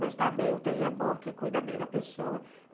Mas está bem, ú tê í é bom porque cuida bem da pessoa.